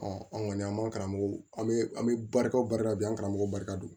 an kɔni an man karamɔgɔw an bɛ an bɛ barika barika bi an karamɔgɔ barika don